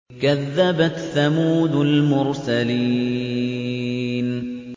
كَذَّبَتْ ثَمُودُ الْمُرْسَلِينَ